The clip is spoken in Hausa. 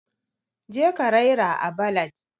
je ka raira à ballad